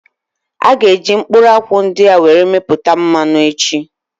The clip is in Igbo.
A gá eji mkpụrụ akwụ ndị a were mepụta mmanụ echi